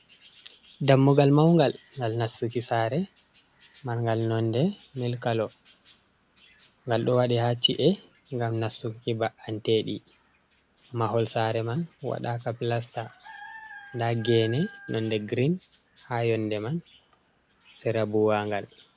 Dammugal maungal ngal nastuki saare mangal. Nonde mil kalo. Ngal ɗo waɗe haa chi’e ngam nastuki mba’anteɗi. Mahol saare man waɗaaka plasta. Nda gene nonde grin haa yonde man, sera buwaangal.